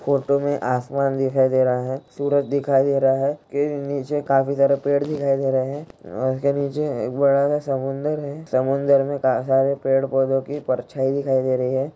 Photo में आसमान दिखाई दे रहा है सूरज दिखाई दे रहा है के नीचे काफी सारे पेड़ दिखाई दे रहे हैं। उसके नीचे एक बड़ा सा समुंदर है समुंदर में काफी सारे पेड़-पोधो की परछाईं दिखाई दे रही है।